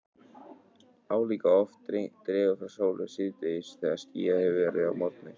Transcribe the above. Álíka oft dregur frá sólu síðdegis þegar skýjað hefur verið að morgni.